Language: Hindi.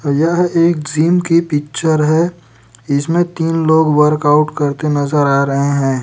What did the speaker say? यह एक जीम की पिक्चर है इसमें तीन लोग वर्कआउट करते नजर आ रहे हैं।